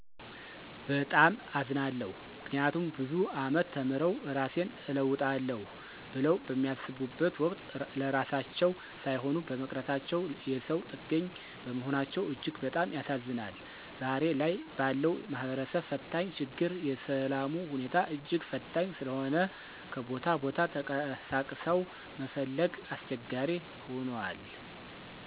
በጣም አዝናለሁ። ምክንያቱም ብዙ አመት ተምረው እራሴን እለውጣለሁ ብለው በሚያሰቡበት ወቅት ለራሳቸው ሳይሆኑ በመቅረታቸው የሰው ጥገኝ በመሆናቸው እጅግ በጣም ያሳዝናል። ዛሬ ላይ ባለው ማህበርሰብ ፈታኝ ችግር የሰላሙ ሁኔታ እጅግ ፈታኝ ሰለሆነ ከቦታ ቦታ ተቀሳቅሰው መፈለግ አሰቸጋሪ ሁናል።